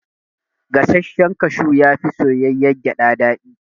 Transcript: Gasashshen kashu yafi soyayyar gyada daɗi